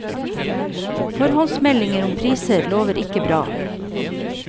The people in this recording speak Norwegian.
Forhåndsmeldinger om priser lover ikke bra.